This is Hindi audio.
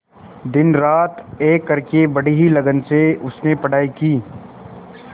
दिनरात एक करके बड़ी ही लगन से उसने पढ़ाई की